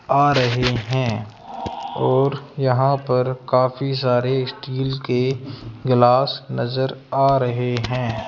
आ रहे हैं और यहां पर काफी सारे स्टील के गिलास नजर आ रहे हैं।